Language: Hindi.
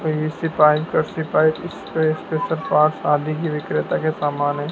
पी_वी_सी पाइप रस्सी पाइप इसपे उसपे सब पास आदि ही विक्रेता के सामान हैं।